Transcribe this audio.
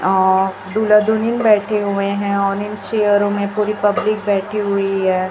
अह दुला दुलीन बैठे हुए हैं और इन चियरो में पूरी पब्लिक बैठी हुई हैं।